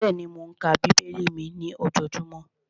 Bẹ́ẹ̀ni, mò ń ka bíbélì mi ní ojojúmọ́